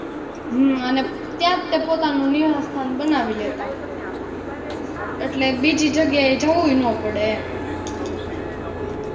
હમ અને ત્યાં તે પોતાનુ નિવાસ્થાન બનાવી લેતા